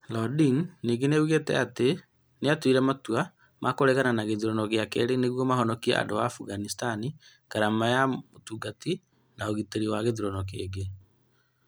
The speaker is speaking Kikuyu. Lodin ningĩ nĩ oigire atĩ atongoria nĩ maatuire itua rĩa kũregana na gĩthurano gĩa kerĩ nĩguo mahonokie andũ a Afghanistan ngarama na ũgwati wa ũgitĩri wa gĩthurano kĩngĩ.